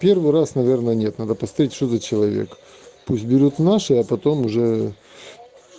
первый раз наверное нет надо поставить что за человек пусть берет наши а потом уже